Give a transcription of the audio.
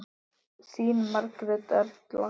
Þín Margrét Erla.